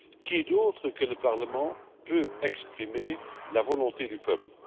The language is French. Qui d'autre que le parlement peut exprimer la volonté du peuple?